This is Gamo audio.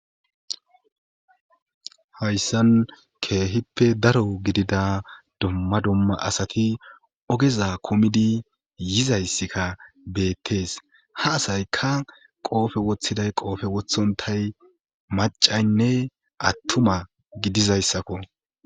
hayssan keehippe daro gidida dumma dumma asati ogeza kumidi yizayssikka beettees ha asayka qoofe woththiday qoofe wothontay macaynne attuma gidizayssakko